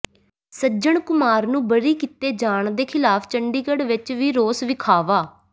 ਸੱਜਣ ਕੁਮਾਰ ਨੂੰ ਬਰੀ ਕੀਤੇ ਜਾਣ ਦੇ ਖ਼ਿਲਾਫ਼ ਚੰਡੀਗੜ੍ਹ ਵਿਚ ਵੀ ਰੋਸ ਵਿਖਾਵਾ